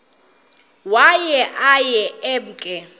waye aye emke